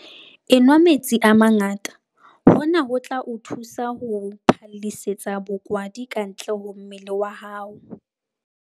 Enwa metsi a mangata - hona ho tla o thusa ho phallisetsa bokwadi kantle ho mmele wa hao.